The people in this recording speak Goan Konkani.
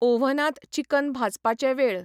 ऑव्हनांत चिकन भाजपाचे वेळ